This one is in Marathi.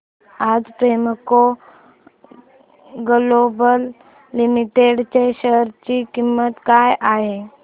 आज प्रेमको ग्लोबल लिमिटेड च्या शेअर ची किंमत काय आहे